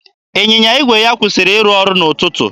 Ịnyịnya igwe ya kwụsịrị ịrụ ọrụ n'ụtụtụ.